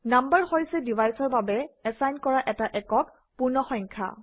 number হৈছে ডিভাইচৰ বাবে এচাইন কৰা এটা একক পূৰ্ণসংখ্যা